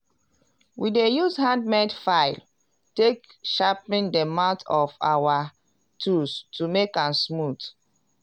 we dey use handmade file take sharpen the mouth of our tools to make am smaooth